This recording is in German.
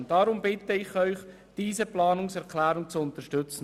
Ich bitte Sie, diese Planungserklärung zu unterstützen.